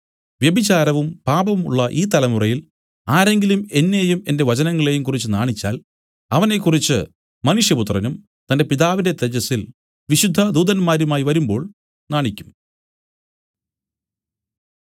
വ്യഭിചാരവും പാപവും ഉള്ള ഈ തലമുറയിൽ ആരെങ്കിലും എന്നെയും എന്റെ വചനങ്ങളെയും കുറിച്ച് നാണിച്ചാൽ അവനെക്കുറിച്ച് മനുഷ്യപുത്രനും തന്റെ പിതാവിന്റെ തേജസ്സിൽ വിശുദ്ധ ദൂതന്മാരുമായി വരുമ്പോൾ നാണിക്കും